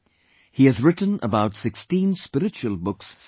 He has written about 16 spiritual books so far